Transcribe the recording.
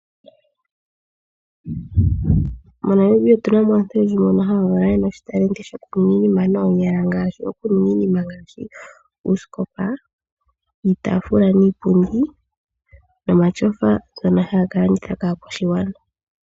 MoNamibia otuna mo aantu oyendji mboka haya valwa yena oshipewa shoku ninga iinima noonyala. Oku ninga iinima ngaashi oosikopa, iitafula niipundi. Nomatsofa ngono haya ka landitha kaakwashigwana.